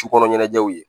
Ci kɔnɔ ɲɛnajɛw ye